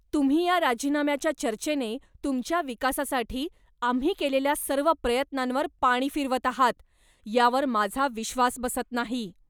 तुम्ही या राजीनाम्याच्या चर्चेने तुमच्या विकासासाठी आम्ही केलेल्या सर्व प्रयत्नांवर पाणी फिरवत आहात, यावर माझा विश्वास बसत नाही.